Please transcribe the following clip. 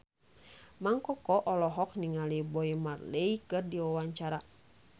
Mang Koko olohok ningali Bob Marley keur diwawancara